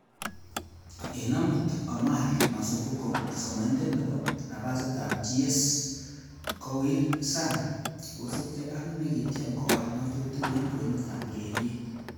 'En amut, Omar masumbuko, somanindet nebo napasitab GS,ko wir Sang kosiibge ak, nekitiem kowal ngatutik en kwenutab ureriet.''